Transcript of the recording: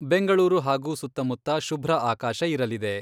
ಬೆಂಗಳೂರು ಹಾಗೂ ಸುತ್ತಮುತ್ತ ಶುಭ್ರ ಆಕಾಶ ಇರಲಿದೆ.